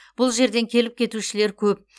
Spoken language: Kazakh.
бұл жерден келіп кетушілер көп